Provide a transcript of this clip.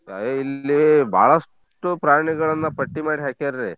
ಇಲ್ಲಿ ಬಾಳಷ್ಟು ಪ್ರಾಣಿಗಳನ್ನ ಪಟ್ಟಿ ಮಾಡಿ ಹಾಕ್ಯಾರಿ.